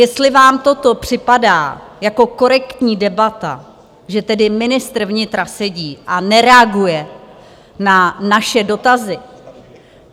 Jestli vám toto připadá jako korektní debata, že tady ministr vnitra sedí a nereaguje na naše dotazy?